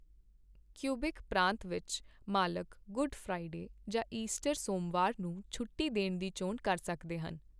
Quebec ਪ੍ਰਾਂਤ ਵਿੱਚ, ਮਾਲਕ ਗੁੱਡ ਫ੍ਰਾਈਡੇ ਜਾਂ ਈਸਟਰ ਸੋਮਵਾਰ ਨੂੰ ਛੁੱਟੀ ਦੇਣ ਦੀ ਚੋਣ ਕਰ ਸਕਦੇ ਹਨ।